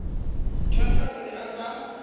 mthethwa o ne a sa